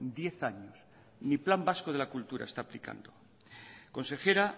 diez años ni plan vasco de la cultura está aplicando consejera